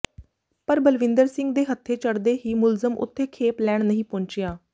ਪਰ ਬਲਵਿੰਦਰ ਸਿੰਘ ਦੇ ਹੱਥੇ ਚੜ੍ਹਦੇ ਹੀ ਮੁਲਜ਼ਮ ਉੱਥੇ ਖੇਪ ਲੈਣ ਨਹੀਂ ਪਹੁੰਚਿਆ